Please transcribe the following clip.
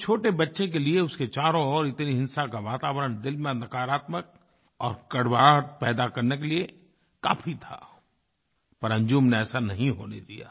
एक छोटे बच्चे के लिए उसके चारों ओर इतनी हिंसा का वातावरण दिल में अंधकारात्मक और कड़वाहट पैदा करने के लिए काफ़ी था पर अंजुम ने ऐसा नहीं होने दिया